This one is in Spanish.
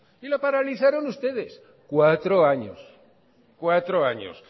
y la paralizaron ustedes cuatro años cuatro años